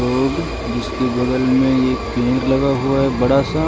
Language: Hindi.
रोड जिसके बगल में एक पेड़ लगा हुआ है बड़ा सा -----